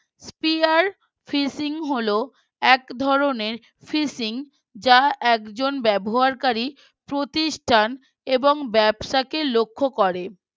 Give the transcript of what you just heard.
spear phishing হল এক ধরনের phishing যা একজন ব্যবহারকারী প্রতিষ্ঠান এবং ব্যবসাকে লক্ষ্য করে